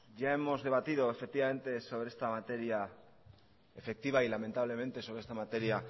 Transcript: ya hemos debatido efectivamente sobre esta materia efectiva y lamentablemente sobre esta materia